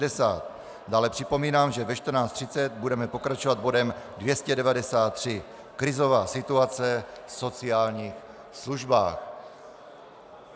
Dále připomínám, že ve 14.30 budeme pokračovat bodem 293 - krizová situace v sociálních službách.